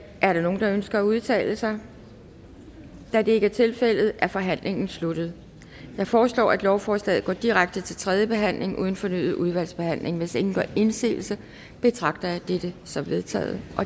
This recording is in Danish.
er der nogen der ønsker at udtale sig da det ikke tilfældet er forhandlingen sluttet jeg foreslår at lovforslaget går direkte til tredje behandling uden fornyet udvalgsbehandling hvis ingen gør indsigelse betragter jeg dette som vedtaget